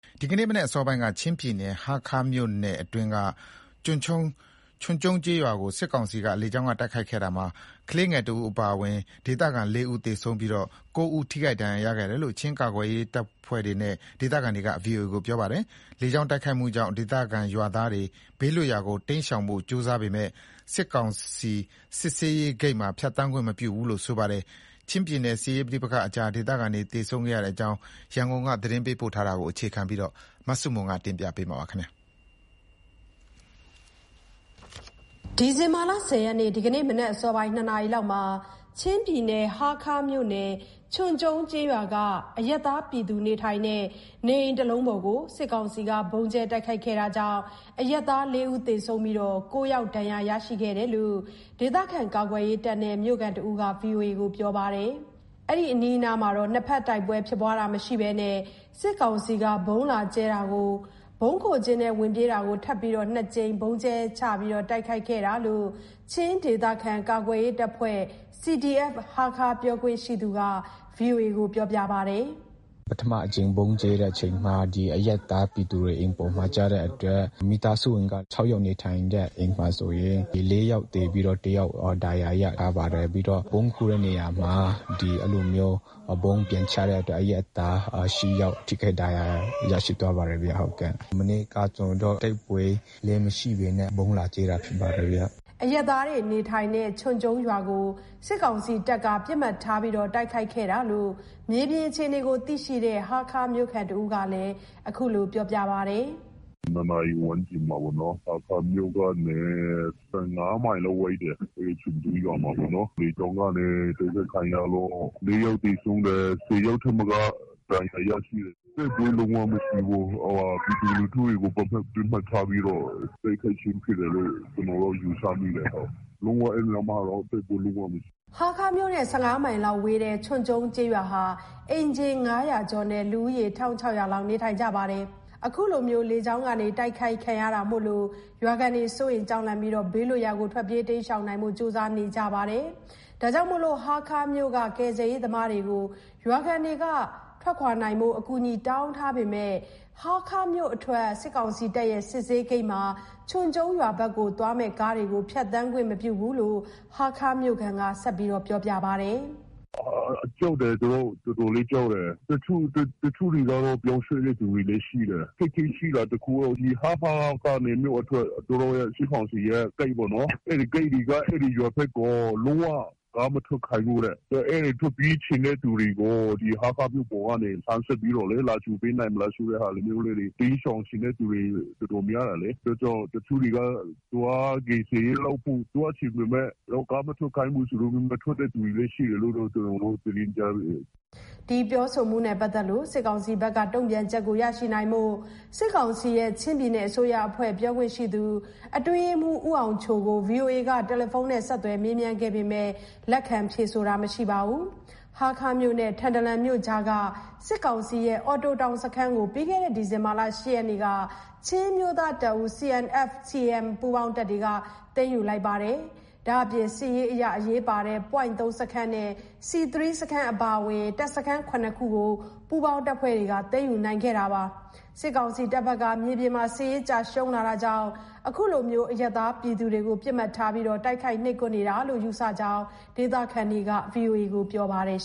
ဒီကနေ့ မနက်အစောပိုင်းက ချင်းပြည်နယ် ဟားခါးမြို့နယ် ချွန်ကျုံးကျေးရွာကို စစ်ကောင်စီက လေကြောင်းတိုက်ခိုက်ခဲ့ရာမှာ ကလေးငယ်တဦးအပါ ဒေသခံ ၄ ဦး သေဆုံးပြီး ၉ ဦး ထိခိုက်ဒဏ်ရာ ရရှိတယ်လို့ ချင်းဒေသကာကွယ်ရေးအဖွဲ့နဲ့ ဒေသခံတွေက ဗွီအိုအေကို ပြောပါတယ်။ လေကြောင်း တိုက်ခိုက်မှုကြောင့် ဒေသခံရွာသားတွေ ဘေးလွတ်ရာကိုတိမ်းရှောင်ဖို့ ကြိုးစားပေမဲ့ စစ်ကောင်စီ စစ်ဆေးဂိတ်မှာ ဖြတ်သန်းခွင့်မပြုဘူးလို့လည်း ဆိုပါတယ်။ ချင်းပြည်နယ် စစ်ရေးပဋိပက္ခကြား ဒေသခံတွေ သေဆုံးခဲ့ရတဲ့အကြောင်း ရန်ကုန်က သတင်ေးပးပို့ထားတာကို အခြေခံပြီး မဆုမွန်တင်ပြထားပါတယ်။ ဒီဇင်ဘာလ ၁၀ ရက် ဒီကနေ့ မနက်အစောပိုင်း ၂ နာရီမှာ ချင်းပြည်နယ် ဟားခါးမြို့ နယ် ချွန်ကျုံး ကျေးရွာကအရပ်သားနေအိမ်တွေကို စစ်ကောင်စီက ဗုံးကြဲတိုက်ခိုက်ခဲ့တာကြောင့် အရပ်သား ၄ ဦးသေဆုံးပြီး ၉ ယောက် ဒဏ်ရာရရှိခဲ့တယ်လို့ ကာကွယ်ရေးတပ်နဲ့ မြို့ခံတဦးက ဗွီအိုအေကို ပြောပါတယ်။ အဲ့ဒီအနီးအနားမှာ နှစ်ဖက်တိုက်ပွဲဖြစ်ပွားတာမရှိဘဲ ဗုံးလာကြဲလို့ ဗုံးခိုကျင်းထဲ ဝင်ပြေးတာကို ထပ်ပြီးတော့ စစ်ကောင်စီက ၂ ကြိမ် ဗုံးကြဲချတိုက်ခိုက်တာလို့ချင်းဒေသ ကာကွယ်ရေးအဖွဲ့ CDF-ဟားခါး ပြောခွင့်ရှိသူက ဗွီအိုအေကို ပြောပါတယ်။ “ပထမအကြိမ်ဗုံးကြဲတဲ့အချိန်မှာ ဒီအရပ်သားပြည်သူ အိမ်ပေါ်မှာကျတဲ့အတွက် မိသားစုဝင်က ၆ ယောက် နေထိုင်တဲ့အိမ်မှာဆိုရင် ၄ ယောက်သေတယ်။ ပြီးတော့ တယောက်ဒဏ်ရာရရတယ်။ ပြီးတော့ ဗုံးခိုတဲ့နေရာမှာ အဲ့လိုမျိုး ဗုံးပြန်ချတဲ့အတွက် အရပ်သား ၈ ယောက် ထိခိုက်ဒဏ်ရာ ရရှိသွားပါတယ်ဗျ၊ ဟုတ်ကဲ့။ ကျနော်တို့ တိုက်ပွဲလည်းမရှိပဲနဲ့ ဗုံးလာကြဲတာဖြစ်ပါတယ်ဗျ။” အရပ်သားတွေနေထိုင်တဲ့ ချွန်ကျုံးရွာကို စစ်ကောင်စီတပ်က ပစ်မှတ်ထား တိုက်ခိုက်ခဲ့တာလို့ မြေပြင်အခြေအနေကိုသိရှိတဲ့ ဟားခါးမြို့ခံတဦးက ခုလို ပြောပါတယ်။ “၂ နာရီဝန်းကျင်မှာပေါ့နော်၊ ဟားခါးမြို့ကနေ ၁၅ မိုင်လောက်ပဲ ဝေးတယ်။ ချွန်ကျုံးကျေးရွာမှာပေ့ါနော်၊ လေကြောင်းကနေ တိုက်ခိုက်ခံရလို့ ၄ ယောက်သေဆုံးတယ်။ ၁၀ ယောက်ထက်မက ဒဏ်ရာရရှိတယ်။ တိုက်ပွဲလုံးဝမရှိဘူး၊ပြည်သူလူထုတွေကို ပစ်မှတ်ထားပြီးတော့ တိုက်ခိုက်ခြင်းဖြစ်တယ်လို့ ကျနော်က ယူဆမိတယ်၊ ဟုတ်။ လုံးဝအဲ့နေရာမှာတော့ တိုက်ပွဲလုံးဝမရှိဘူး။” ဟားခါးမြို့နဲ့ ၁၅ မိုင်လောက်ဝေးတဲ့ ချွန်ကျုံးကျေးရွာဟာ အိမ်ခြေ ၅၀၀ ကျော်နဲ့ လူဦးရေ ၁,၆၀၀ လောက်နေထိုင်ကြပါတယ်။ အခုလို လေကြောင်းကနေ တိုက်ခိုက်ခံရတာမို့ ရွာခံတွေ စိုးရိမ် ကြောက်လန့်ပြီး ဘေးလွတ်ရာကို တိမ်းရှောင်နိုင်ဖို့ ကြိုးစားနေကြပါတယ်။ ဟားခါးမြို့က ကယ်ဆယ်ရေးသမားတွေကို ရွာခံက အကူအညီတောင်းခံထားပေမယ့် ဟားခါးမြို့အထွက် စစ်ကောင်စီတပ်ရဲ့ စစ်ဆေးရေးဂိတ်မှာ ချွန်ကျုံးရွာဘက်သွားမယ့် ကားတွေ ဖြတ်သန်းခွင့်မပြုဘူးလို့ဟားခါးမြို့ခံက ဆက်ပြောပါတယ်။ “ကြောက်တယ်။ သူတို့ တော်တော်လေးကြောက်တယ်။ တချို့တွေကတော့ ပြောင်းရွှေ့တဲ့သူလည်း ရှိတယ်။အခက်အခဲရှိတာတခုက ဒီဟားခါးကနေ မြို့အထွက် စစ်ကောင်စီရဲ့ ဂိတ်ပေါ့နော်၊ အဲ့ဒီ ဂိတ်တွေက အဲ့ဒီရွာဘက်ကို လုံးဝကားမထွက်ခိုင်းဘူးတဲ့။ အဲ့ဒီထွက်ပြေးချင်တဲ့ သူတွေက ဒီဟားခါး မြို့ပေါ်ကို ဆက်လှမ်းပြီးတော့လေ လာကြိုပေးနိုင်မလားဆိုတဲ့ဟာမျိုးတွေ၊ တိမ်းရှောင်ချင်တဲ့သူတွေ တော်တော်များများတယ်လေ။ အဲ့ဒါကြောင့် တချို့တွေက သွားကယ်ဆယ်ရေးလုပ်ဖို့ လုပ်ချင်ပေမယ့် ကားမထွက်ခိုင်းဘူးဆိုတော့ မထွက်တဲ့သူတွေလည်း ရှိတယ်လို့တော့ ကျနော်တို့သတင်းကြားမိတယ်။” ဒီပြောဆိုမှုနဲ့ ပတ်သက်လို့ စစ်ကောင်စီဘက်က တုံ့ပြန်ချက်ရရှိဖို့ စစ်ကောင်စီရဲ့ ချင်းပြည်နယ်အစိုးရ အဖွဲ့ ပြောခွင့်ရှိသူအတွင်းရေးမှူး ဦးအောင်ချိုကို ဗွီအိုအေက တယ်လီဖုန်းနဲ့ ဆက်သွယ်မေးမြန်းခဲ့ပေမယ့် လက်ခံဖြေဆိုတာမရှိပါဘူး။ ဟားခါးမြို့နဲ့ ထန်တလန်မြို့ကြားမှာရှိတဲ့ စစ်ကောင်စီရဲ့ အော်တိုတောင်စခန်းကို ပြီးခဲ့တဲ့ ဒီဇင်ဘာလ ၈ ရက်နေ့က ချင်းအမျိုးသားတပ်ဦး ပူးပေါင်းတပ်က သိမ်းယူလိုပါတယ်။ ဒါ့အပြင် စစ်ရေးအရ အရေးပါတဲ့ ပွိုင့် ၃ စခန်းနဲ့C3 စခန်းအပါအဝင် တပ်စခန်း ၇ ခု ပူးပေါင်းတပ်ဖွဲ့က သိမ်းယူနိုင်ခဲ့ပါတယ်။ စစ်ကောင်စီတပ်ဘက်က မြေပြင်မှာ စစ်ရေးကျရှုံးလာတာကြောင့် အရပ်သားပြည်သူတွေကို ပစ်မှတ်ထား တိုက်ခိုက် နှိပ်ကွပ်နေတာလို့ ယူဆမိကြောင်း ဒေသခံတွေက ပြောဆိုပါတယ်